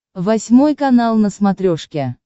восьмой канал на смотрешке